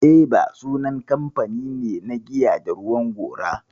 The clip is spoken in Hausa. Eva sunan kamfani ne na giya da ruwan gora.